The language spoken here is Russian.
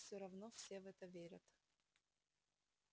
всё равно все в это верят